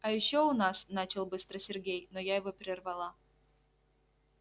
а ещё у нас начал было сергей но я его прервала